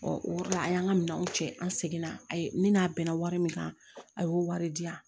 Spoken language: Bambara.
o de la a y'an ka minɛnw cɛ an seginna a ye ni n'a bɛnna wari min kan a y'o wari di yan